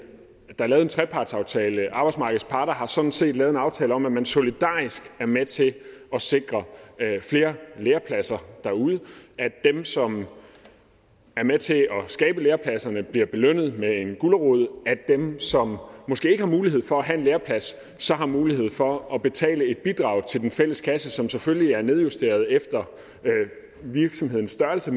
trepartsaftale arbejdsmarkedets parter har sådan set lavet en aftale om at man solidarisk er med til at sikre flere lærepladser derude ved at dem som er med til at skabe lærepladserne bliver belønnet med en gulerod af dem som måske ikke har mulighed for at have en læreplads så har mulighed for at betale et bidrag til den fælles kasse som selvfølgelig er nedjusteret efter virksomhedens størrelse